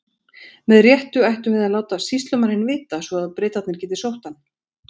Með réttu ættum við að láta sýslumanninn vita, svo að Bretarnir geti sótt hann.